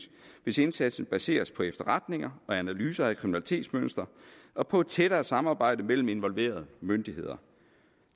hvis indsatsen baseres på efterretninger og analyser af kriminalitetsmønstre og på et tættere samarbejde mellem involverede myndigheder